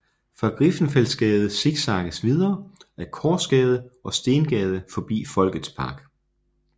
Fra Griffenfeldsgade zigzagges videre ad Korsgade og Stengade forbi Folkets Park